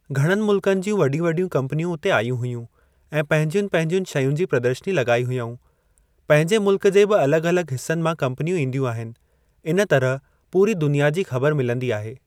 घणनि मुल्कनि जूं वॾियूं वॾियूं कम्पनियूं उते आयूं हुयूं ऐं पंहिंजयुनि पंहिंजयुनि शयुनि जी प्रदर्शनी लगाई हुआऊं। पंहिंजे मुल्क जे बि अलगि॒ अलगि॒ हिस्सनि मां कम्पनियूं ईंदयूं आहिनि। इन तरह पूरी दुनिया जी ख़बर मिलंदी आहे।